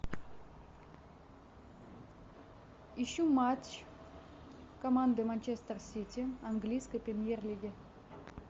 ищу матч команды манчестер сити английской премьер лиги